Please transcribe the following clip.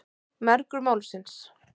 Mergur Málsins.